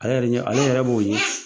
Ale yɛrɛ ɲɛ, ale yɛrɛ b'o ɲɛ.